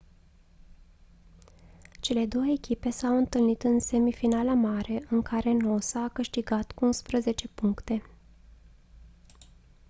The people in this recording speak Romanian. cele două echipe s-au întâlnit în semifinala mare în care noosa a câștigat cu 11 puncte